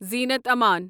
زینت آمن